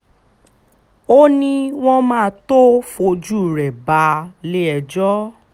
o ní wọ́n máa tóó fojú rẹ balẹ̀-ẹjọ́